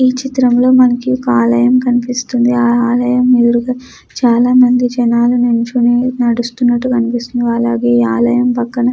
విచిత్రంగా మనకు ఒక ఆలయం కనిపిస్తుంది. ఆలయం ఎదురుగా చాలా మంది జనాలు నించొని నడుస్తున్నట్టుగా కనిపిస్తున్నది. ఈ ఆలయం పక్కన--